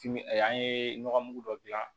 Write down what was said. Timi an ye nɔgɔmugu dɔ gilan